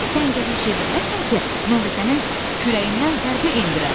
Sən gərək çevriləsən ki, mən də sənin kürəyindən zərbə endirəm.